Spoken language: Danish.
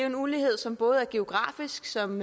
en ulighed som både er geografisk som